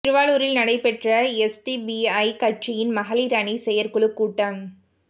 திருவாரூரில் நடைபெற்ற எஸ்டிபிஐ கட்சியின் மகளிா் அணி செயற்குழு கூட்டம்